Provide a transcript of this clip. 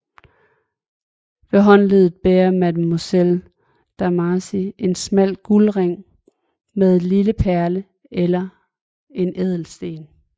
Ved håndleddet bærer mademoiselle Demarsy en smal guldring med en lille perle eller en ædelsten